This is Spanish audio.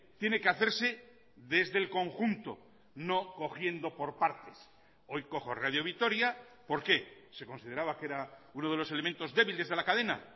tiene que hacerse desde el conjunto no cogiendo por partes hoy cojo radio vitoria por qué se consideraba que era uno de los elementos débiles de la cadena